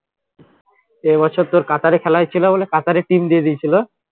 এ বছরে তোর কাতারে খেলা হয়েছিল বলে কাতারের team দিয়ে দিয়েছিল